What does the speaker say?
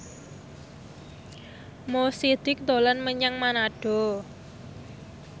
Mo Sidik dolan menyang Manado